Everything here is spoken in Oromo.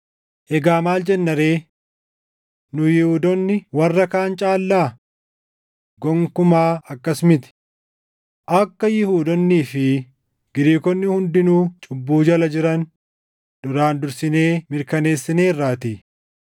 Egaa maal jenna ree? Nu Yihuudoonni warra kaan caallaa? Gonkumaa akkas miti! Akka Yihuudoonnii fi Giriikonni hundinuu cubbuu jala jiran duraan dursinee mirkaneessineerraatii.